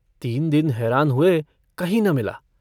तीन दिन हैरान हुए कहीं न मिला।